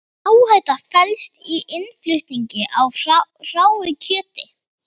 Hvaða áhætta felst í innflutningi á hráu kjöti?